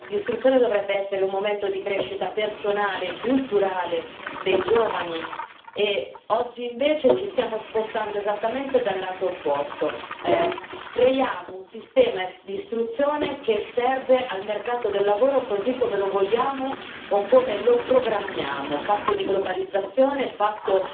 L'istruzione dovrebbe essere un momento di crescita personale e culturale dei giovani e oggi, invece, ci stiamo spostando esattamente dal lato opposto, creiamo un sistema di istruzione che serve al mercato del lavoro così come lo vogliamo o come lo programmiamo, fatto di globalizzazione, fatto